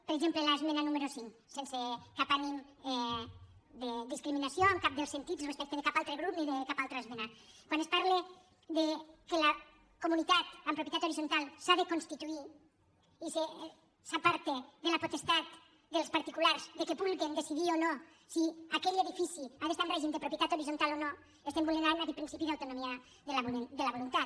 per exemple l’esmena número cinc sense cap ànim de discriminació en cap dels sentits respecte de cap altre grup ni de cap altra esmena quan es parla que la comunitat en propietat horitzontal s’ha de constituir i s’aparta de la potestat dels particulars que vulguin decidir o no si aquell edifici ha d’estar en règim de propietat horitzontal o no estem vulnerant aquest principi d’autonomia de la voluntat